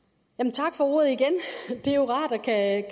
tak for ordet igen det er jo rart at